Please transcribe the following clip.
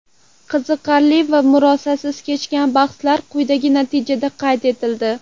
Qiziqarli va murosasiz kechgan bahslarda quyidagi natijalar qayd etildi.